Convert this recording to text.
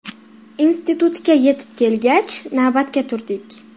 Institutga yetib kelgach, navbatga turdik.